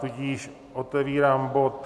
Tudíž otevírám bod